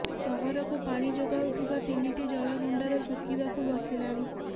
ସହରକୁ ପାଣି ଯୋଗାଉଥିବା ତିନିଟି ଜଳ ଭଣ୍ଡାର ଶୁ୍ଖିବାକୁ ବସିଲାଣି